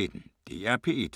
DR P1